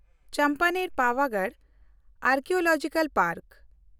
Champaner Pavagadh archaeological park